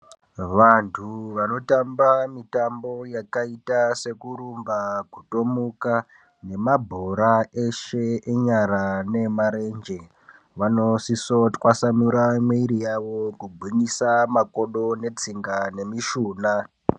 Vanthu vanotamba mitambo yakaita sekurumba, kutomuka ne mabhora eshe enyara neemarenje vanosiso twasamura mwiri yawo kugwinyisa makodo netsinga memishuna.